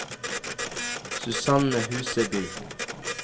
Susanne Huseby